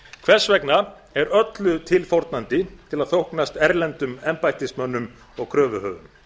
hvers vegna er öllu tilfórnandi til að þóknast erlendum embættismönnum og kröfuhöfum